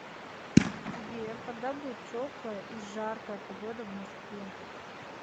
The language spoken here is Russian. сбер когда будет теплая и жаркая погода в москве